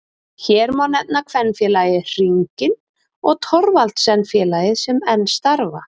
Hér má nefna kvenfélagið Hringinn og Thorvaldsensfélagið sem enn starfa.